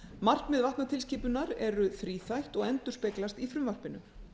markmið vatnatilskipunar eru þríþætt og endurspeglast í frumvarpinu